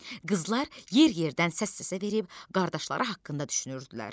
Qızlar yer-yerdən səs-səsə verib qardaşları haqqında düşünürdülər.